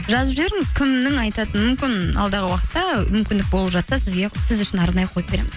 жазып жіберіңіз кімнің айтатынын мүмкін алдағы уақытта мүмкіндік болып жатса сіз үшін арнайы қойып береміз